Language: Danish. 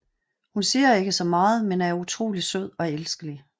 Hun siger ikke så meget men er utrolig sød og elskelig